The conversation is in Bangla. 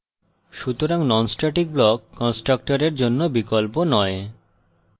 সুতরাং non static block কন্সট্রকটরের জন্য বিকল্প নয়